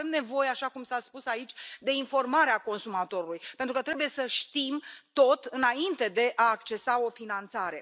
Dar avem nevoie, așa cum s a spus aici, de informarea consumatorului, pentru că trebuie să știm tot înainte de a accesa o finanțare.